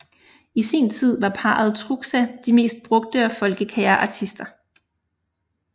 I sin tid var parret Truxa de mest brugte og folkekære artister